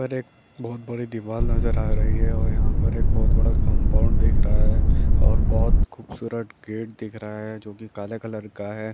ऊपर एक बहुत बड़ी दिवार नज़र आ रही है और यहाँ पर एक बहुत बड़ा कंपाउंड दिख रहा है और बहुत खूबसूरत गेट दिख रहा है जोकि काले कलर का है।